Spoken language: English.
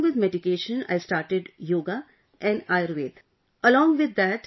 Sir, along with medication, I started yoga &Ayurvedic